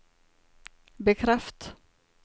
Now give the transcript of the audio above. bekreft